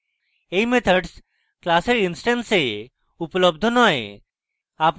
এই methods class instance এ উপলব্ধ নয়